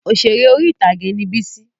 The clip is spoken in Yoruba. Òṣèré orí-ìtàgé ni Bísí